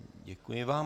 Děkuji vám.